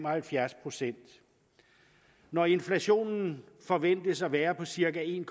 procent når inflationen forventes at være på cirka en